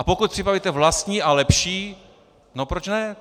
A pokud připravíte vlastní a lepší, no proč ne?